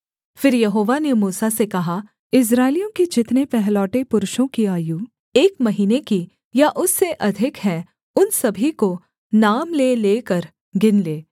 फिर यहोवा ने मूसा से कहा इस्राएलियों के जितने पहलौठे पुरुषों की आयु एक महीने की या उससे अधिक है उन सभी को नाम ले लेकर गिन ले